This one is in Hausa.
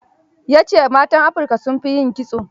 Ya ce matan Afrika sun fi yin kitso.